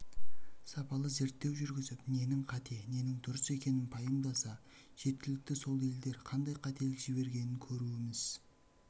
сапалы зерттеу жүргізіп ненің қате ненің дұрыс екенін пайымдаса жеткілікті сол елдер қандай қателік жібергенін көруіміз